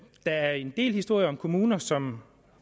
er en del historier om kommuner som